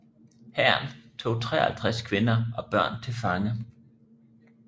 Hæren tog 53 kvinder og børn til fange